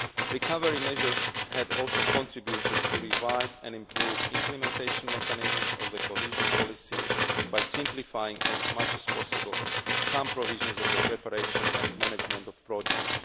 Recovery measures had also contributed to reviving and improving implementation mechanisms of the cohesion policy by simplifying as much as possible some provisions of the preparation and management of projects.